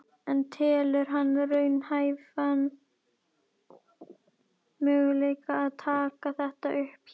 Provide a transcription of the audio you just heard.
En telur hann raunhæfan möguleika að taka þetta upp hér?